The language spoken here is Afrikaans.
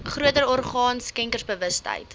groter orgaan skenkersbewustheid